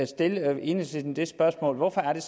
stille enhedslisten dette spørgsmål hvorfor er